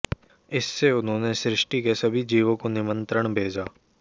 इससे उन्होंने सृष्टि के सभी जीवों को निमंत्रण भेजा